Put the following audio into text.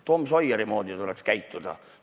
Tom Sawyeri moodi tuleks käituda!